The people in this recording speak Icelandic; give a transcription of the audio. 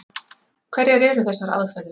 Hverjar eru þessar aðferðir?